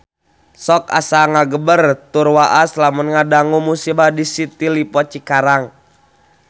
Sok asa ngagebeg tur waas lamun ngadangu musibah di City Lippo Cikarang